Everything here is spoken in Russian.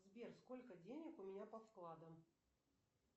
сбер сколько денег у меня по вкладам